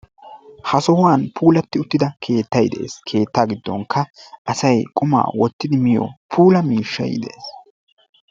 Ha sohuwn puulatti uttida keettayi de"es. Keettaa giddoonikka asayi qumaa wottidi miyo puula miishshayi de"es.